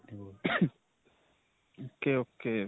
ok ok.